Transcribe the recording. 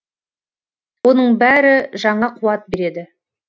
оның бәрі жаңа қуат береді